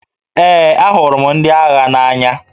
Ee, ahụrụ m ndị agha n'anya